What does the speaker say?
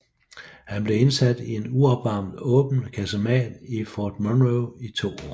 Han blev indsat i en uopvarmet åben kasemat i Fort Monroe i to år